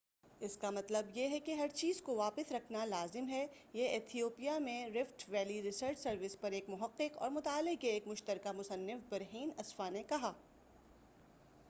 اس کا مطلب یہ ہے کہ ہر چیز کو واپس رکھنا لازم ہے یہ ایتھیوپیا میں رفٹ ویلی ریسرچ سروس پر ایک محقق اور مطالعے کے ایک مشترکہ مصنف برہین اسفاء نے کہا